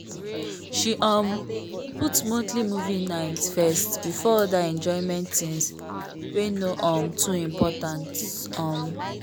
she um put monthly movie nights first before other enjoyment things wey no um too important. um